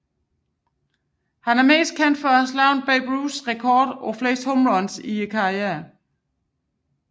Han er mest kendt for at have slået Babe Ruths rekord for flest home runs i karrieren